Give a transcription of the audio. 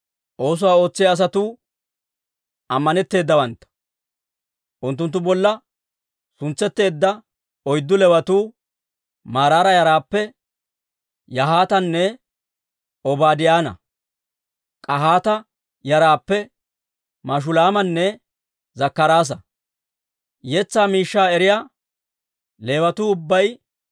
Oosuwaa ootsiyaa asatuu ammanetteedawantta. Unttunttu bolla suntsetteedda oyddu Leewatuu, Maraara yaraappe Yahaatanne Obaadiyaanne, K'ahaata yaraappe Mashulaamanne Zakkaraasa. Yetsaa miishshaa eriyaa Leewatuu ubbay